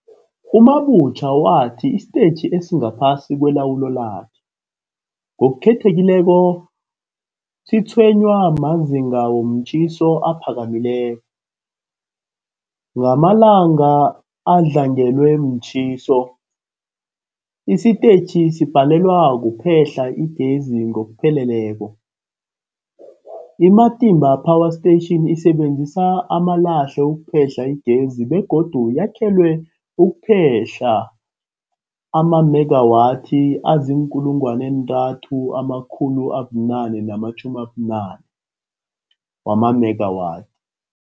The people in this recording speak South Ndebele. U-Mabotja wathi isitetjhi esingaphasi kwelawulo lakhe, ngokukhethekileko, sitshwenywa mazinga womtjhiso aphakemeko. Ngamalanga adlangelwe mtjhiso, isitetjhi sibhalelwa kuphehla igezi ngokupheleleko. I-Matimba Power Station isebenzisa amalahle ukuphehla igezi begodu yakhelwe ukuphehla amamegawathi azii-3990 mega watt.